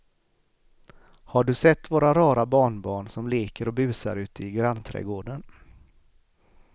Har du sett våra rara barnbarn som leker och busar ute i grannträdgården!